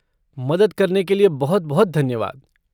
मदद करने के लिए बहुत बहुत धन्यवाद।